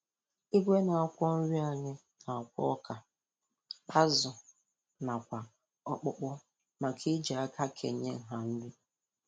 Igwe na-akwọ nri anyị na-akwọ ọka, azụ nakwa ọkpụkpụ maka iji aka kenye nha nri